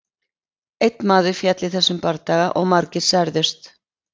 Einn maður féll í þessum bardaga og margir særðust.